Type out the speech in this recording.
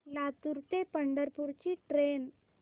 लातूर ते पंढरपूर ची ट्रेन